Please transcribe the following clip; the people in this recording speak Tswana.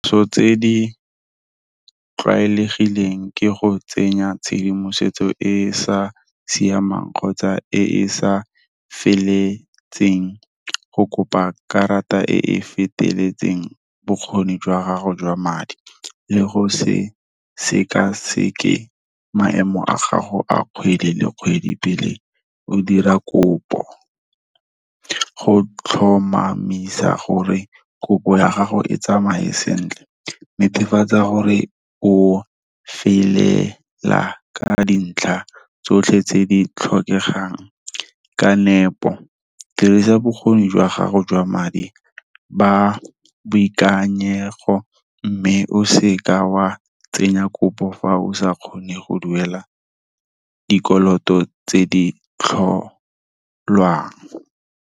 Ntho tse di tlwaelegileng ke go tsenya tshedimosetso e e sa siamang, kgotsa e e sa feletseng go kopa karata e e feteletseng bokgoni jwa gago jwa madi. Le go sekaseke maemo a gago a kgwedi le kgwedi pele o dira kopo. Go tlhomamisa gore kopo ya gago e tsamaye sentle, netefatsa gore o felela ka dintlha tsotlhe tse di tlhokegang, ka nepo, dirisa bokgoni jwa gago jwa madi, ba boikanyego mme o se ka wa tsenya kopo fa o sa kgone go duela dikoloto tse di tlholwang.